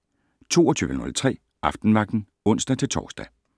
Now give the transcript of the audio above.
22:03: Aftenvagten (ons-tor)